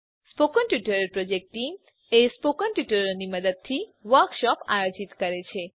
spoken tutorial project team spoken ટ્યુટોરીયલોનાં મદદથી વર્કશોપોનું આયોજન કરે છે